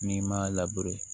N'i m'a